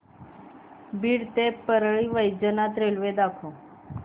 बीड ते परळी वैजनाथ रेल्वे दाखव